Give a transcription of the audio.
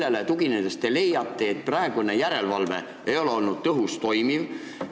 Millele tuginedes te leiate, et praegune järelevalve ei ole olnud tõhus ega toimiv?